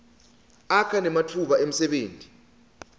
akha nematfuba emsebenti